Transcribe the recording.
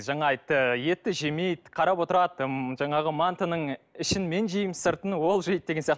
жаңа айтты етті жемейді қарап отырады м жаңағы мантының ішін мен жеймін сыртын ол жейді деген сияқты